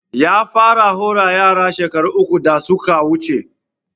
Ya fara hora yaran shekaru uku da suka wuce